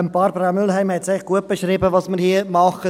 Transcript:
Barbara Mühlheim hat gut beschrieben, was wir hier tun.